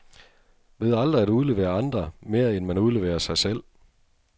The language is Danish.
Ved aldrig at udlevere andre, mere end man udleverer sig selv.